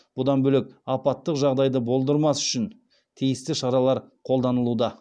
бұдан бөлек апаттық жағдайды болдырмас үшін тиісті шаралар қолданылуда